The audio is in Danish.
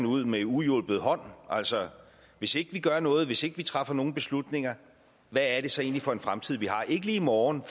ud med uhjulpet hånd altså hvis ikke vi gør noget hvis ikke vi træffer nogle beslutninger hvad er det så egentlig for en fremtid vi har ikke lige i morgen